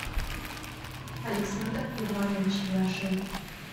александр иванович яшин